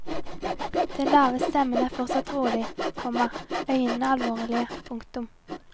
Den lave stemmen er fortsatt rolig, komma øynene alvorlige. punktum